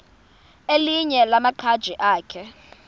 elinye lamaqhaji akhe